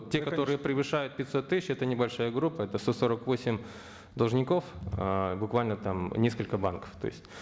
те которые превышают пятьсот тысяч это небольшая группа это сто сорок восемь должников ыыы буквально там несколько банков то есть